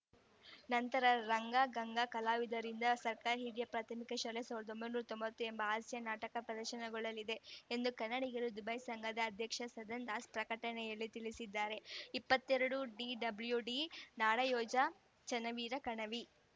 ನಂತರ ರಂಗಗಂಗಾ ಕಲಾವಿದರಿಂದ ಸರ್ಕಾರ ಹಿರಿಯ ಪ್ರಾರ್ಥಮಿಕ ಶಾಲೆ ಸಾವಿರದ ಒಂಬೈನೂರ ತೊಂಬತ್ತು ಎಂಬ ಹಾಸ್ಯ ನಾಟಕ ದರ್ಶನಗೊಳ್ಳಲಿದೆ ಎಂದು ಕನ್ನಡಿಗರು ದುಬೈ ಸಂಘದ ಅಧ್ಯಕ್ಷ ಸದನ್‌ ದಾಸ್‌ ಪ್ರಕಟಣೆಯಲ್ಲಿ ತಿಳಿಸಿದ್ದಾರೆ ಇಪ್ಪತ್ತ್ ಎರಡು ಡಿಡಬ್ಲೂಡಿ ನಾಡೋಯೋಜ ಚನ್ನವೀರ ಕಣವಿ